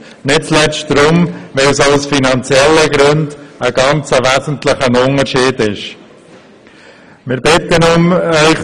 Dies nicht zuletzt darum, weil es auch aus finanziellen Gründen einen ganz wesentlichen Unterschied ausmacht.